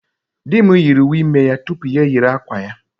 Dị m yiri uwe ime ya tupu ya eyiri akwa ya.